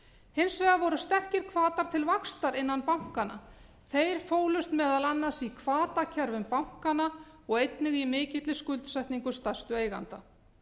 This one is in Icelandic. hins vegar voru sterkir hvatar til vaxtar innan bankanna þeir fólust meðal annars í hvatakerfum bankanna og einnig í mikilli skuldsetningu stærstu eigenda